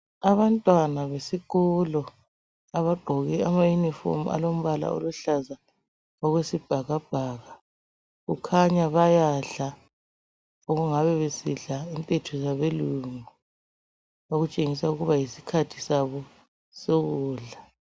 Abantwana besikolo abagqoke amayunifomu alombala oluhlaza okwesibhakabhaka kukhanya bayadla okungabe besidla okulethwe ngabelungu okutshengisa ukuba yisikhathi sabo sokudla.